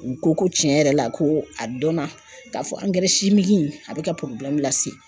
U ko ko tiɲɛ yɛrɛ la ko a dɔnna k'a fɔ a bɛ ka lase